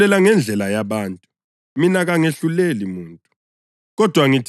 Lina lahlulela ngendlela yabantu; mina kangahluleli muntu.